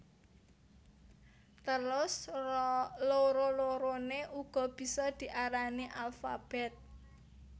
Terus loro loroné uga bisa diarani alfabèt